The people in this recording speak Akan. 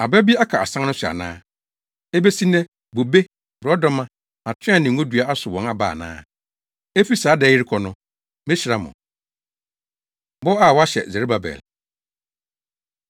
Aba bi aka asan no so ana? Ebesi nnɛ, bobe, borɔdɔma, atoaa ne ngodua asow wɔn aba ana? “ ‘Efi saa da yi rekɔ no, mehyira mo.’ ” Bɔ A Wɔahyɛ Serubabel